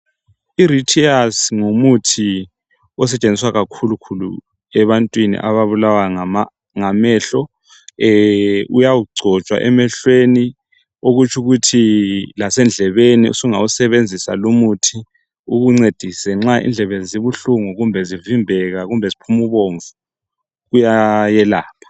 IRetears ngumuthi osetshenziswa kakhulu khulu ebantwini ababulawa ngamehlo. Uyagcotshwa emehlweni okutsho ukuthi lasendlebeni sungawusebenzisa lumuthi ukuncedise nxa indlebe zibuhlungu kumbe zivimbeka kumbe ziphuma ubomvu, uyayelapha.